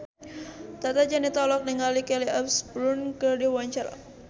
Tata Janeta olohok ningali Kelly Osbourne keur diwawancara